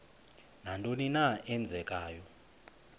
nantoni na eenzekayo